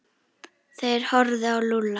Þeir horfðu á Lúlla.